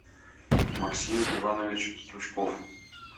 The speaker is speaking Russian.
максим иванович стручков